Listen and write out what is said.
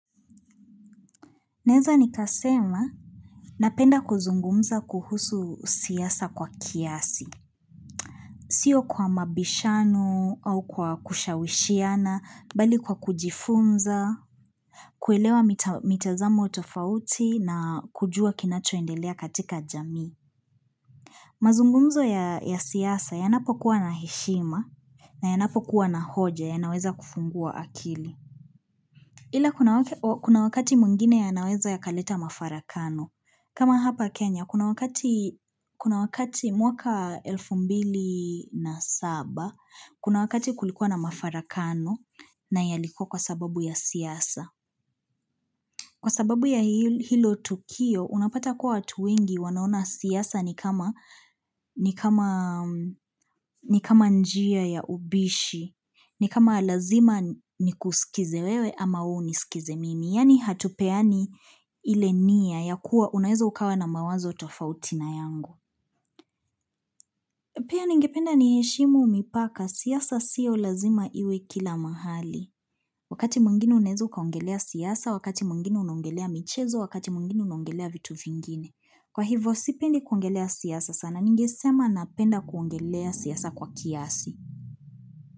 Naweza nikasema, napenda kuzungumza kuhusu siasa kwa kiasi. Sio kwa mabishanu au kwa kushawishiana, bali kwa kujifunza, kuelewa mitazamo tofauti na kujua kinachoendelea katika jamii. Mazungumzo ya siasa yanapokuwa na heshima na yanapokuwa na hoja, yanaweza kufungua akili. Ila kuna wakati mwingine yanaweza yakaleta mafarakano. Kama hapa Kenya, kuna wakati mwaka elfu mbili na saba, kuna wakati kulikuwa na mafarakano na yalikuwa kwa sababu ya siasa. Kwa sababu ya hilo tukio, unapata kuwa watu wengi wanaona siasa ni kama ni kama njia ya ubishi, ni kama lazima ni kusikize wewe ama unisikize mimi. Yani hatupeani ile nia ya kuwa unaweza ukawa na mawazo tofauti na yangu. Pia ningependa ni heshimu mipaka, siasa sio lazima iwe kila mahali. Wakati mwingine unaweza ukaongelea siasa, wakati mwingine unongelea michezo, wakati mwingine unongelea vitu vingine. Kwa hivyo, sipendi kuongelea siasa sana ningesema napenda kuongelea siasa kwa kiasi.